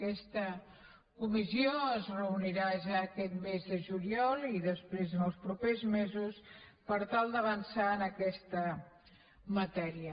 aquesta comissió es reunirà ja aquest mes de juliol i després en els propers mesos per tal d’avançar en aquesta matèria